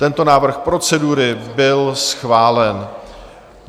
Tento návrh procedury byl schválen.